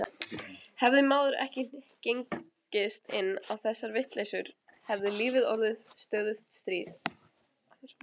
Hefði maður ekki gengist inn á þessar vitleysur hefði lífið orðið stöðugt stríð.